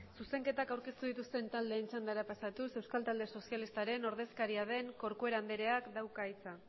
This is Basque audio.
zuzenketak aurkeztu dituzten taldeen txandara pasatuz euskal talde sozialistaren ordezkariaren corcuera andereak dauka hitza